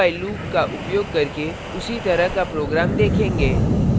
अब हम do… while loop का उपयोग करके उसी तरह का program देखेंगे